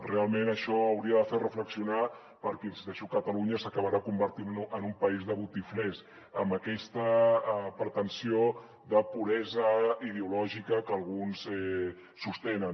realment això hauria de fer reflexionar perquè hi insisteixo catalunya s’acabarà convertint en un país de botiflers amb aquesta pretensió de puresa ideològica que alguns sostenen